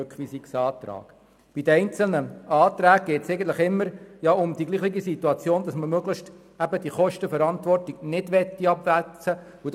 Bei den einzelnen Anträgen geht es eigentlich immer darum, dass man möglichst die Kosten für die Veranstaltungen nicht weiter verrechnen will.